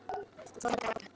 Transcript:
Hún fór að gráta.